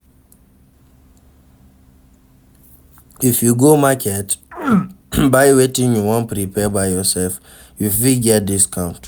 if you go market buy wetin you won prepare by yourself you fit get discount